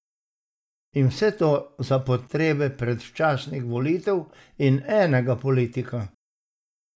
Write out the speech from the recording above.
In vse to za potrebe predčasnih volitev in enega politika?